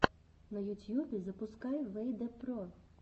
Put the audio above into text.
на ютьюбе запускай вэйдэ про